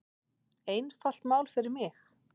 Einfalt mál fyrir mig.